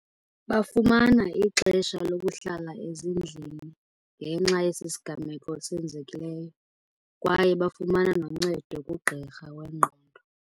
Bafumana ixesha lokuhlala ezindlini ngenxa yesisigameko senzekileyo. Kwaye bafumana noncedo kugqirha wengqondo.